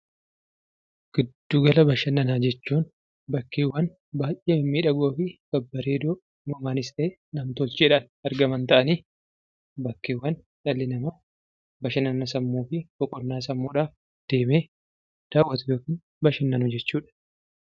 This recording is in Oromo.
Gidduu gala bashannanaa jechuun bakkeewwan baayyee mimmiidhagoo fi babbareedoo uumamaanis ta'e, nam-tolcheedhaan argaman taa'aanii bakkeewwan dhalli namaa bashannana sammuudhaaf yookiin immoo boqonnaa sammuudhaaf dawwaatu yookiin bashannanu jechuu dha.